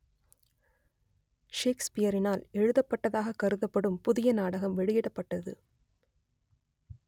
ஷேக்ஸ்பியரினால் எழுதப்பட்டதாகக் கருதப்படும் புதிய நாடகம் வெளியிடப்பட்டது